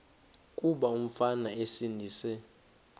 kuba umfana esindise